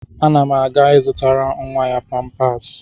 Ana m aga ịzụtara nwa ya pampers.